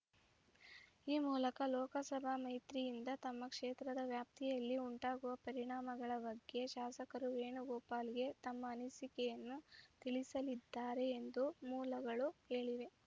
ಈ ಮೂಲಕ ಲೋಕಸಭ ಮೈತ್ರಿಯಿಂದ ತಮ್ಮ ಕ್ಷೇತ್ರದ ವ್ಯಾಪ್ತಿಯಲ್ಲಿ ಉಂಟಾಗುವ ಪರಿಣಾಮಗಳ ಬಗ್ಗೆ ಶಾಸಕರು ವೇಣುಗೋಪಾಲ್‌ಗೆ ತಮ್ಮ ಅನಿಸಿಕೆಯನ್ನು ತಿಳಿಸಲಿದ್ದಾರೆ ಎಂದು ಮೂಲಗಳು ಹೇಳಿವೆ